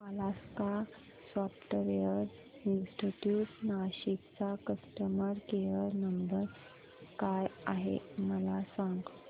Alaska software institute Nashik चा customer care number काय आहे मला सांग